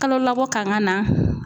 Kalolabɔ kan ka na